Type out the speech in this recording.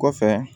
Kɔfɛ